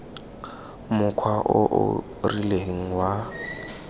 mokgwa o o rileng wa